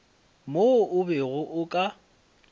mo o bego o ka